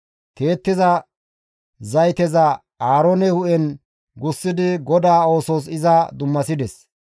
Tiyettiza zayteza Aaroone hu7en gussidi GODAA oosos iza dummasides.